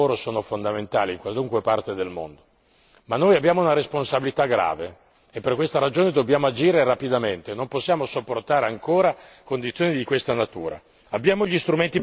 I diritti del lavoro sono fondamentali in qualunque parte del mondo, ma noi abbiamo una responsabilità grave e per questa ragione dobbiamo agire rapidamente e non possiamo sopportare ancora condizioni di questa natura.